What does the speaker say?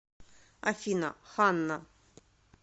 афина ханна